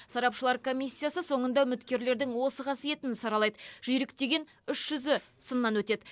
сарапшылар комиссиясы соңында үміткерлердің осы қасиетін саралайды жүйрік деген үш жүзі сыннан өтеді